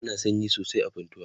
ana sanyi sosai a funtua